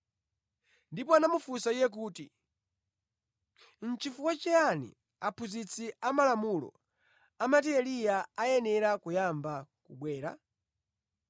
Ndipo anamufunsa Iye kuti, “Nʼchifukwa chiyani aphunzitsi amalamulo amati Eliya ayenera kuyamba wabwera?”